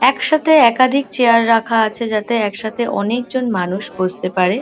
একসাথে একাধিক চেয়ার রাখা আছে যাতে একসাথে অনেকজন মানুষ বসতে পারে।